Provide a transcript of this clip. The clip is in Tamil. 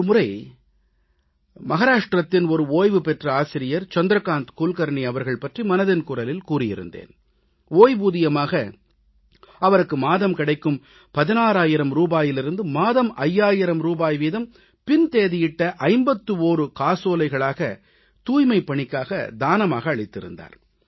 ஒரு முறை மகாராஷ்டிரத்தின் ஓய்வு பெற்ற ஆசிரியர் சந்திரகாந்த் குல்கர்னி அவர்கள் பற்றி மனதின் குரலில் கூறியிருந்தேன் ஓய்வூதியமாக அவருக்கு மாதம் கிடைக்கும் 16000 ரூபாயிலிருந்து மாதம் 5000 ரூபாய் வீதம் பின் தேதியிட்ட 51 காசோலைகளாக தூய்மைப் பணிக்காக தானமாக அளித்திருந்தார்